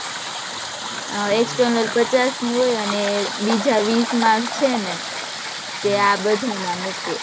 અ external પચાસ ની હોય અને બીજા વીશ marks છે ને તે આ બધા ના મુકે